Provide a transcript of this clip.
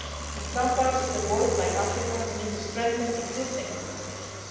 all key. In some parts of the world, like Africa, we need to strengthen existing organisations.